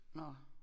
Nå